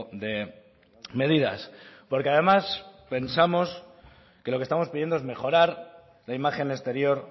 de medidas porque además pensamos que lo que estamos pidiendo es mejorar la imagen exterior